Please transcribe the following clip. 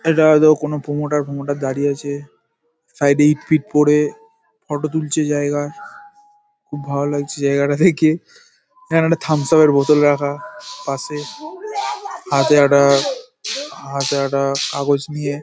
এটা হয়তো কোনো প্রোমোটার ফোমোটার দাঁড়িয়ে আছে সাইড -এ ইট ফিট পড়ে ফটো তুলছে জায়গার খুব ভালো লাগছে জায়গাটা দেখে। এখানে একটা থামস আপ -এর বোতল রাখা পাশে হাতে একটা হাতে একটা কাগজ নিয়ে --